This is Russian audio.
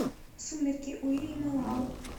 сумерки уильяма лао